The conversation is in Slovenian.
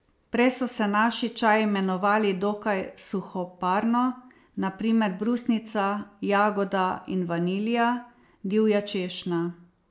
Prej so se naši čaji imenovali dokaj suhoparno, na primer brusnica, jagoda in vanilja, divja češnja ...